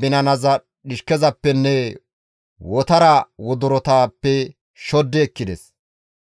binanaza dhishkezappenne wotara wodorotappe shoddi ekkides.